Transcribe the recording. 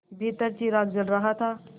भीतर चिराग जल रहा था